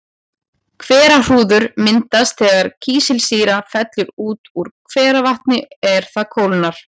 Hverahrúður myndast þegar kísilsýra fellur út úr hveravatni er það kólnar.